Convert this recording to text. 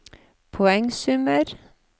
poengsummer